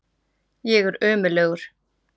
Ég er ömurlegur.